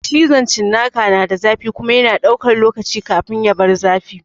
Cizon cinnaka na da zafi kuma yana ɗaukan lokaci kafin ya bar yin zafi.